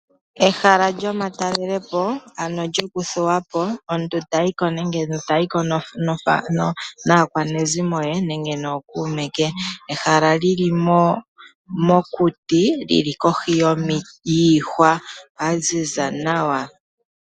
Ehala lyomatalele po, ano lyoku thuwa po, omuntu ta yi ko naakwanezimo ye nenge nookuume ke. Ehala li li mokuti li li kohi yiihwa ya ziza nawa.